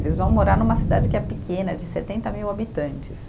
Eles vão morar numa cidade que é pequena, de setenta mil habitantes.